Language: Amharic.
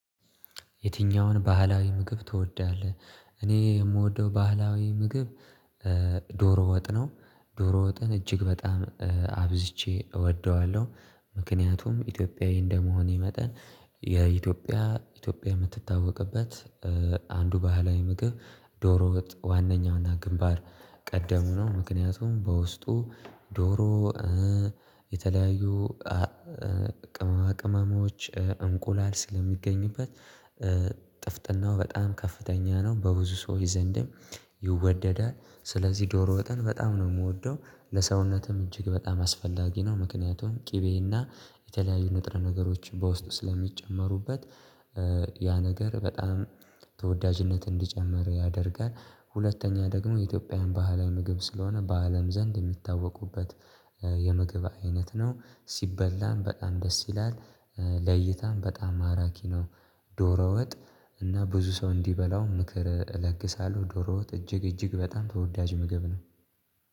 የትኛውን ባህላዊ ምግብ ትወዳለህ? እኔ የምወደው ባህላዊ ምግብ ዶሮ ወጥ ነው ዶሮ ወጥን እጅግ በጣም አብዝቼ እወደዋለሁ። ምክንያቱም ኢትዮጵያዊ እንደመሆኔ መጠን የኢትዮጵያ ኢትዮጵያ የምትታወቅበት አንዱ ባህላዊ ምግብ ዶሮ ወጥ ዋናኛውና ግንባር ቀደም ነው ምክንያቱም በውስጡ ዶሮ የተለያዩ ቅመማ ቅመሞች እንቁላል ስለሚገኝበት በጣም ከፍተኛ ነው በብዙ ሰው ዘንድም ይወደዳል። ስለዚህ ዶሮ ወጥን በጣም ነው ምወደው ለሰውነትም እጅግ በጣም አስፈላጊ ነው ምክንያቱም ቅቤና የተለያዩ ንጥረ ነገሮችን በውስጥ ስለሚጨመሩበት ያ ነገር በጣም ተወዳጅነት እንዲጨምር ያደርጋል። ሁለተኛ ደግሞ የኢትዮጵያን ባህላዊ ምግብ ስለሆነ በአለም ዘንድ የሚታወቁበት የምግብ አይነት ነው ሲበላም በጣም ደስ ይላል ለይታም በጣም ማራኪ ነው። ዶሮ ወጥ እና ብዙ ሰው እንዲበላው ምክር እለግሳለሁ ዶሮ ወጥ እጅግ እጅግ በጣም ተወዳጅ ምግብ ነው።